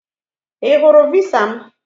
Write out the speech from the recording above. I hụrụ visa m